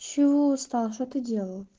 чего устал что ты делал